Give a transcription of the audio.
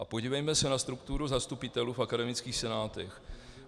A podívejme se na strukturu zastupitelů v akademických senátech.